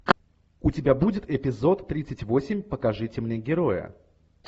у тебя будет эпизод тридцать восемь покажите мне героя